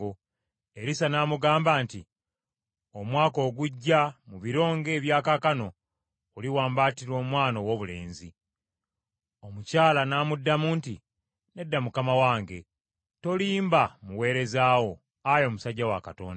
Erisa n’amugamba nti, “Omwaka ogujja, mu biro ng’ebya kaakano oliwambaatira omwana owoobulenzi.” Omukyala n’amuddamu nti, “Nedda mukama wange, tolimba muweereza wo, ayi omusajja wa Katonda.”